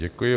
Děkuji.